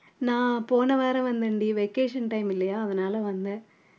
நான் போன வாரம் வந்தேன்டி vacation time இல்லையா அதனால வந்தேன்